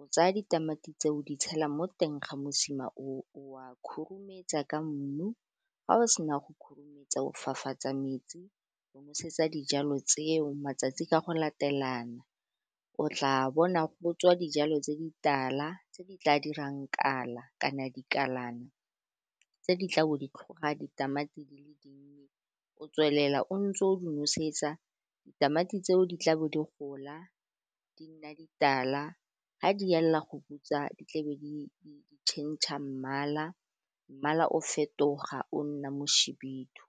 o tsaya ditamati tse o di tshela mo teng ga mosima o o wa khurumetsa ka mmu, fa o sena go khurumetsa o fapafatsa metsi go nosetsa dijalo tseo matsatsi ka go latelana o tla bona go tswa dijalo tse di tala, tse di tla dirang kala kana dikalana, tse di tla bo di tlhoga ditamati di le dinnye o tswelela o ntse o di nosetsa ditamati tseo, di tla bo di gola di nna ditala ga di elela go butswa di tlabe di tšhentšha mmala, mmala o fetoga o nna mo šhibidu.